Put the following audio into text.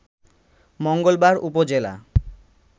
মঙ্গলবার উপজেলা